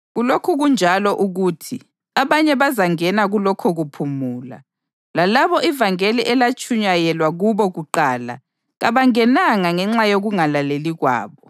Kulokhu kunjalo ukuthi abanye bazangena kulokho kuphumula, lalabo ivangeli elatshunyayelwa kubo kuqala kabangenanga ngenxa yokungalaleli kwabo.